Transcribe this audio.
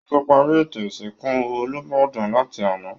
Wọ́n ti parí ètò ìsìnkú olúbàdàn láti àná